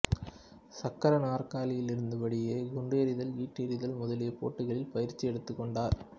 சக்கர நாற்காலியில் இருந்த படியே குண்டு எறிதல் ஈட்டி எறிதல் முதலிய போட்டிகளில் பயிற்சி எடுத்துக் கொண்டார்